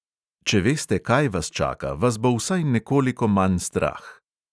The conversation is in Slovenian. Če veste, kaj vas čaka, vas bo vsaj nekoliko manj strah.